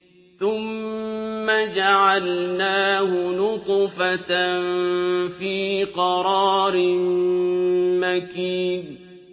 ثُمَّ جَعَلْنَاهُ نُطْفَةً فِي قَرَارٍ مَّكِينٍ